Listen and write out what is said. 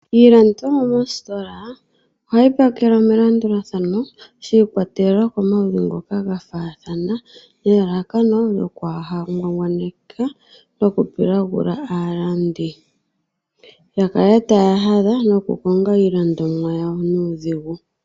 Iilandithomwa mostola ohayi pakelwa melandulathano shiikwatelela komaludhi ngoka gafaathana, nelalakano lyokwaangwangwaneke aalandi yakale taya hathadha nokukonga iilandomwa yawo nuudhigu.